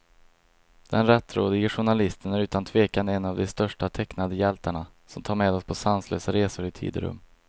Den rättrådige journalisten är utan tvekan en av de största tecknade hjältarna, som tar med oss på sanslösa resor i tid och rum.